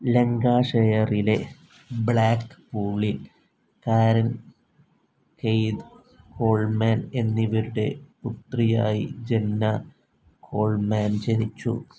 ലങ്കാഷെയറിലെ ബ്ലാക്ക്പൂളിൽ Karen, Keith Coleman എന്നിവരുടെ പുത്രിയായി ജെന്ന കോൾമാൻ ജനിച്ചു.